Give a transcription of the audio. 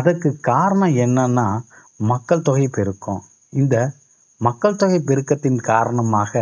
அதற்கு காரணம் என்னன்னா மக்கள் தொகை பெருக்கம். இந்த மக்கள் தொகை பெருக்கத்தின் காரணமாக